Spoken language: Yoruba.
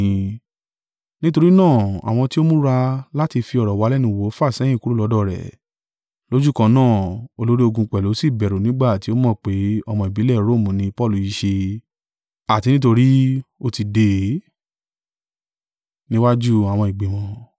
Nítorí náà àwọn tí ó múra láti fi ọ̀rọ̀ wa lẹ́nu wò fàsẹ́yìn kúrò lọ́dọ̀ rẹ̀: lójúkan náà. Olórí ogun pẹ̀lú sì bẹ̀rù nígbà tí ó mọ̀ pé ọmọ ìbílẹ̀ Romu ní Paulu i ṣe, àti nítorí ó tí dè é.